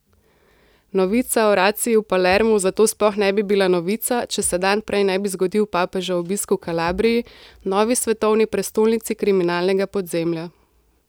Novica o raciji v Palermu zato sploh ne bi bila novica, če se dan prej ne bi zgodil papežev obisk v Kalabriji, novi svetovni prestolnici kriminalnega podzemlja.